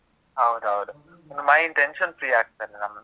ಹೌದೌದು. mind tension free ಆಗ್ತದೆ ನಮ್ದು.